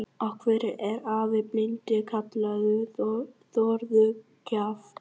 Af hverju er afi blindi kallaður Þórður kjaftur?